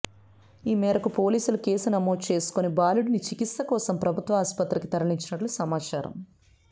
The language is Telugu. ఈ మేరకు పోలీసులు కేసు నమోదు చేసుకుని బాలుడిని చికిత్స కోసం ప్రభుత్వ ఆసుపత్రికి తరలించినట్లు సమాచారం